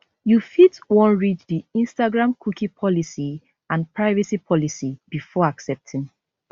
you fit wan read di instagram cookie policy and privacy policy before accepting